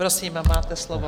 Prosím, máte slovo.